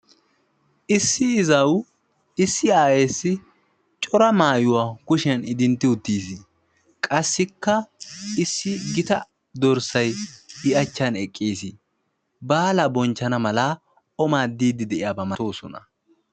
issi izaawu issi aawaassi cora mayuwa kushiyan idintti uttiis. qassikka issi gita dorssay i achchan eqqis. baalaa bonchchana mala o maaddiiddi de'iyaaba malatoosona.